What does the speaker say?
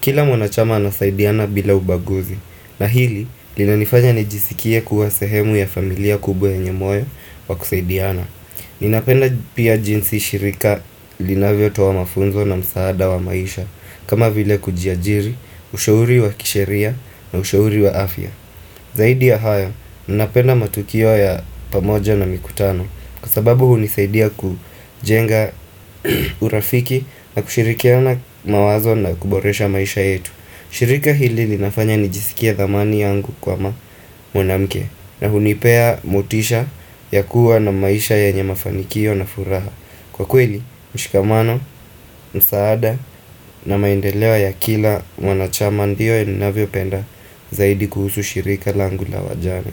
Kila mwanachama anasaidiana bila ubaguzi. Na hili, linanifanya nijisikie kuwa sehemu ya familia kubwa yenye moyo wa kusaidiana. Ninapenda pia jinsi shirika linavyotowa mafunzo na msaada wa maisha. Kama vile kujiajiri, ushauri wa kisheria na ushauri wa afya Zaidi ya haya, ninapenda matukio ya pamoja na mikutano Kwa sababu hunisaidia kujenga urafiki na kushirikiana mawazo na kuboresha maisha yetu shirika hili linafanya nijisikie thamani yangu kwa mwanamke na hunipea motisha ya kuwa na maisha yenye mafanikio na furaha Kwa kweli, mshikamano, msaada na maendeleo ya kila wanachama ndio ninavyo penda zaidi kuhusu shirika langu la wajane.